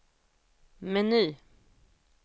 meny